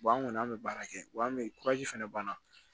an kɔni an bɛ baara kɛ wa an bɛ fɛnɛ banna